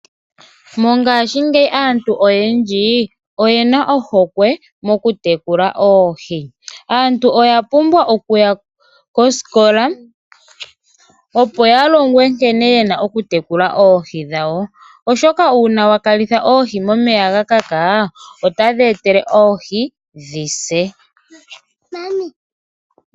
Mongashingeyi aantu oyendji oyena ohokwe mokutekula oohi. Aantu oya pumbwa okuya koskola opo yalongwe nkene yena okutekula oohi dhawo oshoka uuna wakalitha oohi momeya gakaka otadheetele oohi dhi se.